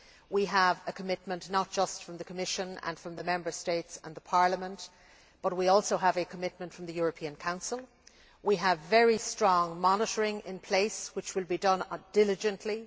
We have a commitment, not just from the Commission and from the Member States and the Parliament, but also from the European Council. We have very strong monitoring in place, which will be done diligently.